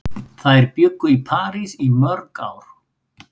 Þær bjuggu í París í mörg ár.